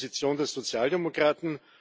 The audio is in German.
Das ist die Position der Sozialdemokraten.